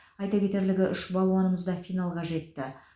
айта кетерлігі үш балуанымыз да финалға жетті